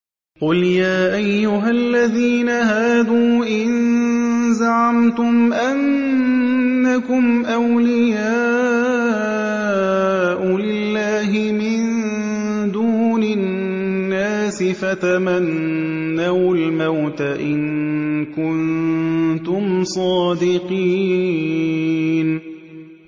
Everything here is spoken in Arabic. قُلْ يَا أَيُّهَا الَّذِينَ هَادُوا إِن زَعَمْتُمْ أَنَّكُمْ أَوْلِيَاءُ لِلَّهِ مِن دُونِ النَّاسِ فَتَمَنَّوُا الْمَوْتَ إِن كُنتُمْ صَادِقِينَ